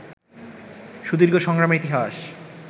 সুদীর্ঘ সংগ্রামের ইতিহাস